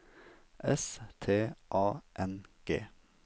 S T A N G